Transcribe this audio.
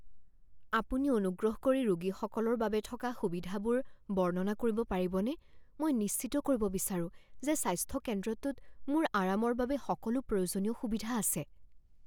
আপুনি অনুগ্ৰহ কৰি ৰোগীসকলৰ বাবে থকা সুবিধাবোৰ বৰ্ণনা কৰিব পাৰিবনে? মই নিশ্চিত কৰিব বিচাৰো যে স্বাস্থ্য কেন্দ্ৰটোত মোৰ আৰামৰ বাবে সকলো প্ৰয়োজনীয় সুবিধা আছে।